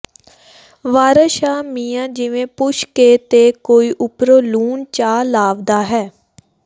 ਵਾਰਸ ਸ਼ਾਹ ਮੀਆਂ ਜਿਵੇਂ ਪੁਛ ਕੇ ਤੇ ਕੋਈ ਉੱਪਰੋਂ ਲੂਣ ਚਾ ਲਾਂਵਦਾ ਹੈ